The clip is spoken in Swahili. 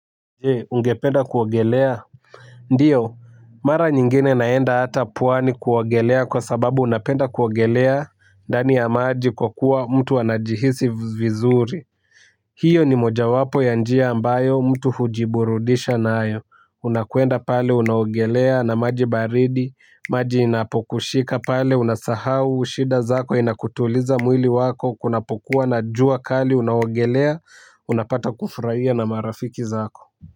Je ungependa kuwogelea. Ndiyo mara nyingine naenda hata puwani kuwogelea kwa sababu napenda kuwogelea ndani ya maji kwa kuwa mtu anajihisi vizuri. Hiyo ni mojawapo ya njia ambayo mtu hujiburudisha naayo unakuenda pale unawogelea na maji baridi maji inapokushika pale unasahau shida zako inakutuliza mwili wako kunapokuwa na jua kali unawogelea unapata kufurahia na marafiki zako.